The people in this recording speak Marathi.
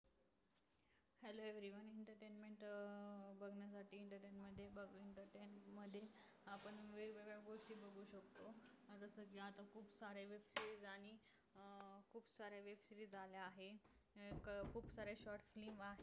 झाल्या नेमक खूप साऱ्या shorts नी